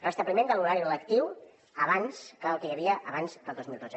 restabliment de l’horari lectiu el que hi havia abans del dos mil dotze